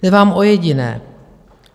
Jde vám o jediné.